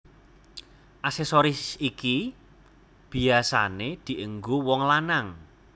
Aksesoris iki biyasané dienggo wong lanang